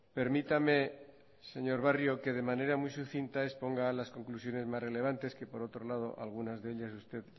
permítame señor barrio que de manera muy sucinta exponga las conclusiones más relevantes que por otro lado algunas de ellas usted